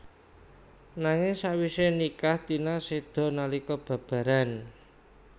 Nanging sawise nikah Tina seda nalika babaran